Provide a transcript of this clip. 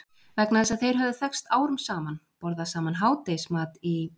Vegna þess að þeir höfðu þekkst árum saman, borðað saman hádegismat í